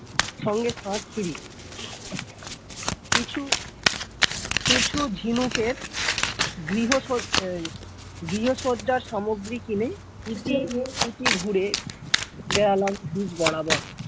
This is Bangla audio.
সঙ্গে । কিছু কিছু ঝিনুকের গৃহসজ্জা এই গৃহসজ্জার সামগ্রী কিনে এই ইতিউতি ঘুরে বেড়ালাম beach বরাবর।